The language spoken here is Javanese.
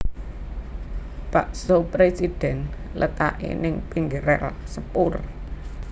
Bakso Presiden letake ning pinggir rel sepur